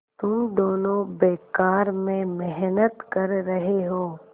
तुम दोनों बेकार में मेहनत कर रहे हो